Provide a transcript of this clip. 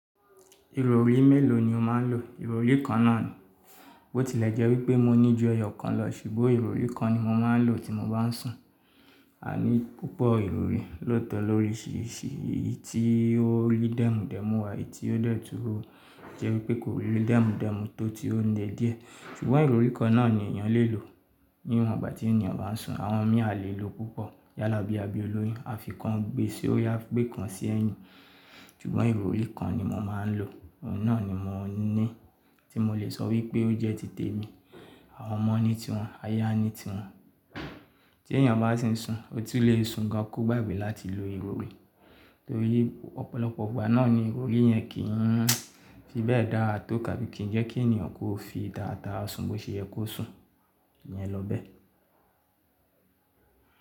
Ìrọrí mélòó ni o máa ń lò? Ìrọrí kan náà ni. Botilẹjẹ́ wípé mo ní ju ẹyọ kan lọ ṣùgbọ́n ìrọrí kan ni mo máa ń lò tí mo bá ń sùn. A ní púpọ̀ ìrọrí, lọ́tọ̀ lóríṣìírṣìí, èyí tí ó rí dẹ́mu dẹ́mu wà, èyí tí ó dẹ̀ túró jẹ́ wípé kò rí dẹ́mu dẹ́mu tó ti ó le díẹ̀. Ṣùgbọ́n ìrọrí kan náà ni èèyàn lè lò níwọ̀n ìgbà tí ènìyàn bá sùn. Àwọn míà lè lò púpọ̀ yálà bíi abióloyin, a fi kan gbe si ori, a gbé kan sí ẹyin Ṣùgbọ́n ìrọrí kan ni mo máa ń lò, ọ̀un náà ni mo ní tí mo lè sọ wípé ó jẹ́ titẹ mi. Àwọn ọmọ ní tiwọn, aya ní tiwọn. Tí èèyàn bá ti ń sùn, ó tún lè sùn gan kú gbàgbé láti lo ìrọrí torí ọ̀pọ̀lọpọ̀ igbà náà ni ìrọ̀rí yẹn kì í fi bẹ́ẹ̀ dára tó tabi kii jẹ́ kí èèyàn kó fi dáadáa sùn bó ṣe yẹ kó sùn. Ìyẹn ló bẹ́ẹ̀.